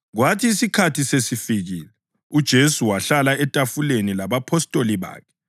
Kwathi isikhathi sesifikile uJesu wahlala etafuleni labapostoli bakhe.